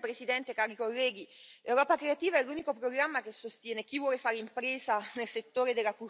Presidente, onorevoli colleghi, Europa creativa è l'unico programma che sostiene chi vuole fare impresa nel settore della cultura e della creatività.